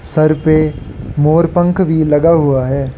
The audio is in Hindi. सर पे मोर पंख भी लगा हुआ है।